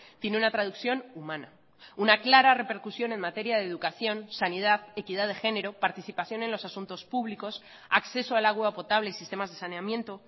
tiene una traducción humana una clara repercusión en materia de educación sanidad equidad de género participación en los asuntos públicos acceso al agua potable y sistemas de saneamiento